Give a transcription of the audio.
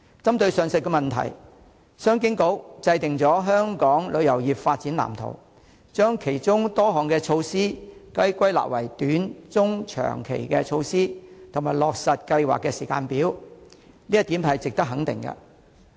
針對上述問題，商務及經濟發展局制訂了《香港旅遊業發展藍圖》，將其中多項措施歸納為短、中、長期措施，以及落實計劃的時間表，這一點是值得肯定的。